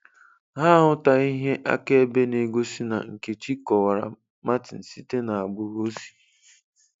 Ha ahụtaghị ihe akaebe na-egosi na Nkechi kọwara Martin site n'agbụrụ o si.